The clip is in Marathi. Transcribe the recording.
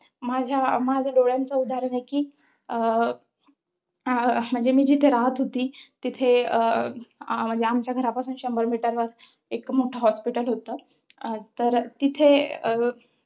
माझा, माझ्या डोळ्याचं उदाहरण आहे कि अं अं म्हणजे मी जिथे राहत होती, तिथे अं म्हणजे आमच्या घरापसुन शंभर meter वर एक मोठं hospital होतं. तर तिथे